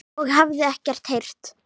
og hafði ekkert heyrt.